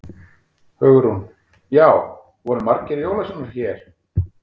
Hugrún: Já, voru margir jólasveinar hér?